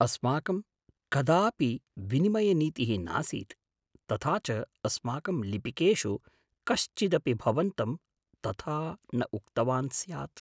अस्माकं कदापि विनिमयनीतिः नासीत्, तथा च अस्माकं लिपिकेषु कश्चिदपि भवन्तं तथा न उक्तवान् स्यात्।